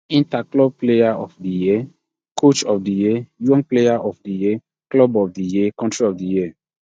interclub player of di year coach of di year young player of di year club of di year country of di year